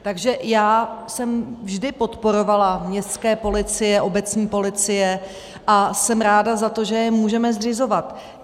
Takže já jsem vždy podporovala městské policie, obecní policie a jsem ráda za to, že je můžeme zřizovat.